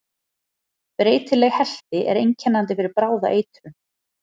Breytileg helti er einkennandi fyrir bráða eitrun.